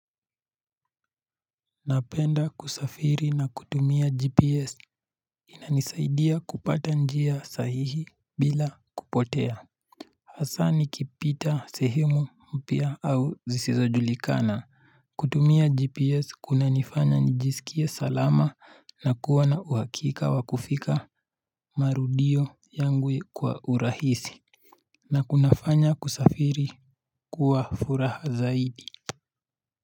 Napenda kusafiri na kutumia gps inanisaidia kupata njia sahihi bila kupotea Hassa nikipita sehemu mpya au zisizojulikana kutumia gps kunanifanya nijisikie salama na kuwa na uhakika wa kufika marudio yangu kwa urahisi na kuna fanya kusafiri kuwa furaha zaidi.